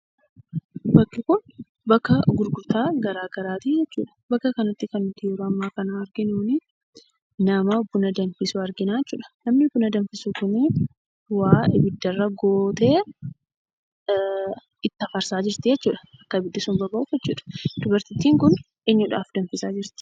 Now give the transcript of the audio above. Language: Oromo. Bakki kun bakka gurgurtaa garaa garaatii jechuudha. Bakka kanatti kan nuti yeroo ammaa kana arginuunii nama buna danfisu arginaa jechuudha. namni buna danfisu kunii waa ibiddarra gootee itti afarsaa jirtii jechuudha akka ibiddi sun boba'uuf jechuudha. Dubartittiin kun eenyuudhaaf danfisaa jirti?